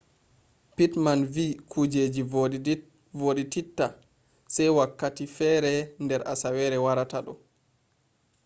pittman vi kujeji vodititta se wakkati fere der asawere warata do